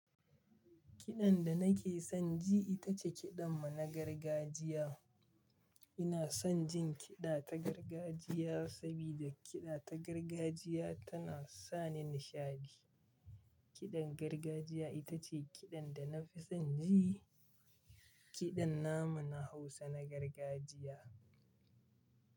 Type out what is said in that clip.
Kiɗan da nake son ji ita ce, kiɗan mu na gargajiya. Ina son jin kiɗa ta gargajiya, saboda kiɗa ta gargajiya tana sa ni nishaɗi. Kiɗan gargajiya ita ce kiɗan da na fi son ji, kiɗan namu na Hausa na gargajiya.